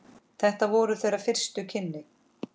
Þetta voru þeirra fyrstu kynni.